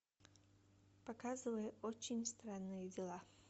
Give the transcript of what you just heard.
показывай очень странные дела